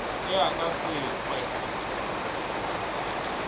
ge a ka se hwe